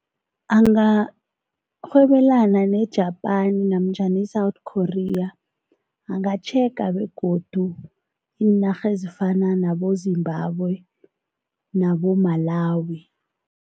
Angarhwebelana ne-Japan namtjhana i-South Korea angatjhega begodu iinarha ezifana naboZimbabwe naboMalawi.